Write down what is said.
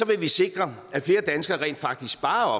vil vi sikre at flere danskere rent faktisk sparer